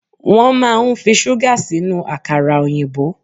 Wọ́n máa ń fi ṣúgà sínú àkàrà òyìnbó.